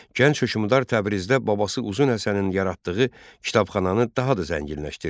Gənc hökmdar Təbrizdə babası Uzun Həsənin yaratdığı kitabxananı daha da zənginləşdirdi.